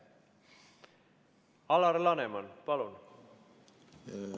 Alar Laneman, palun!